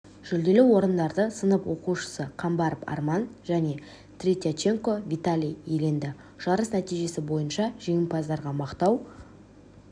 жүлделі орындарды сынып оқушысы камбаров арман және третьяченко виталий иеленді жарыс нәтижесі бойынша жеңімпаздарға мақтау